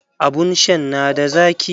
Abun shan na da zaki.